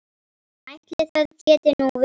Ætli það geti nú verið.